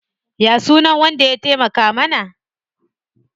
Ya sunan wanda ya taimaka mana?